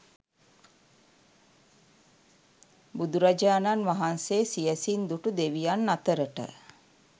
බුදුරජාණන් වහන්සේ සියැසින් දුටු දෙවියන් අතරට